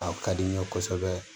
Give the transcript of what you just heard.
A ka di n ye kosɛbɛ